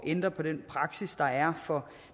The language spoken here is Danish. ændre på den praksis der er for